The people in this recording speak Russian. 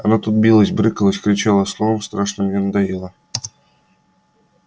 она тут билась брыкалась кричала словом страшно мне надоела